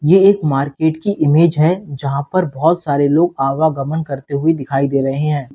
ये एक मार्केट की इमेज है जहां पर बहोत सारे लोग आवा गमन करते हुए दिखाई दे रहे हैं।